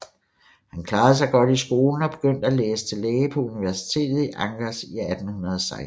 Han klarede sig godt i skolen og begyndte at læse til læge på universitetet i Angers i 1816